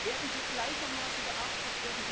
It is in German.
Werden sie gleichermaßen geachtet?